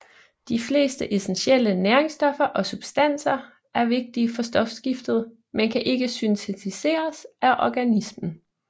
De fleste essentielle næringsstoffer og substanser er vigtige for stofskiftet men kan ikke syntetiseres af organismen